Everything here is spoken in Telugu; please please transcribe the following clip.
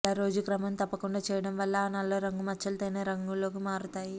ఇలా రోజూ క్రమం తప్పకుండా చేయడం వల్ల ఆ నల్ల రంగు మచ్చలు తేనె రంగులోకి మారతాయి